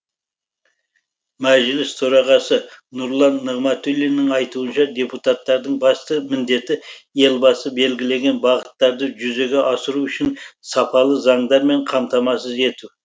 мәжіліс төрағасы нұрлан нығматулиннің айтуынша депутаттардың басты міндеті елбасы белгілеген бағыттарды жүзеге асыру үшін сапалы заңдармен қамтамасыз ету